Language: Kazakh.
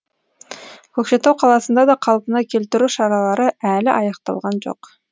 көкшетау қаласында да қалпына келтіру шаралары әлі аяқталған жоқ